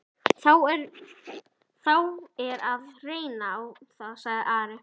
Þá er að reyna á það, sagði Ari.